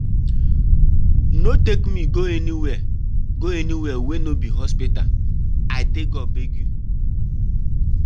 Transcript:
No take me go anywhere go anywhere wey no be hospital, I take God beg you.